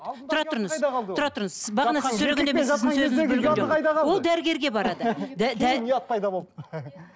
ол дәрігерге барады